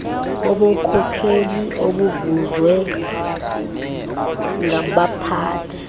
bobukhokheli obuvezwa ngabaphathi